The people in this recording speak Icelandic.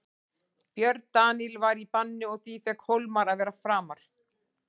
Björn Daníel var í banni og því fékk Hólmar að vera framar.